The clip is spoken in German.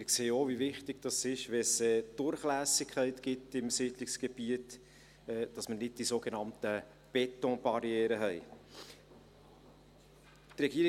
Auch sehen wir, wie wichtig es ist, wenn es Durchlässigkeit gibt im Siedlungsgebiet, damit wir diese sogenannten Betonbarrieren nicht haben.